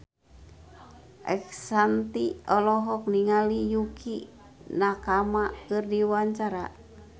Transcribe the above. Ashanti olohok ningali Yukie Nakama keur diwawancara